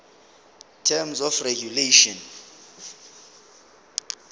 terms of regulation